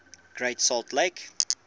great salt lake